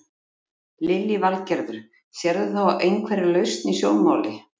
Lillý Valgerður: Sérðu þá einhverja lausn í sjónmáli?